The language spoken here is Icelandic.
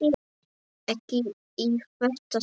Ekki í þetta sinn.